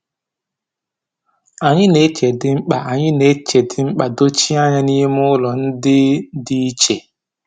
Anyị na-eche ndịkpa Anyị na-eche ndịkpa dochie anya n’ime ụlọ ndị dị iche.